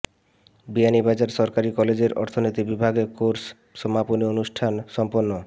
বিয়ানীবাজার সরকারি কলেজের অর্থনীতি বিভাগে কোর্স সমাপনী অনুষ্ঠান সম্পন্ন